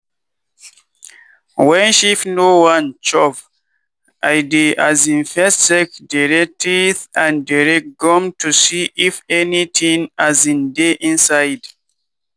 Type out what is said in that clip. wen sheep no wan chop i dey um first check dere teeth and dere gum to see if anytin um dey inside.